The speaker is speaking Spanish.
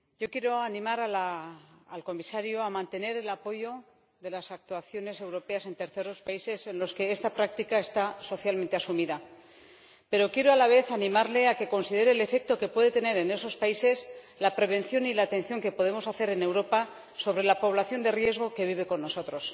Señor Presidente, yo quiero animar al Comisario a mantener el apoyo de las actuaciones europeas en los terceros países en los que esta práctica está socialmente asumida, pero quiero a la vez animarle a que considere el efecto que puede tener en esos países la prevención y la atención que podemos hacer en Europa sobre la población de riesgo que vive con nosotros.